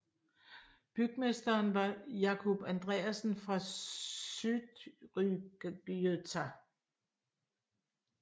Bygmesteren var Jákup Andreassen fra Syðrugøta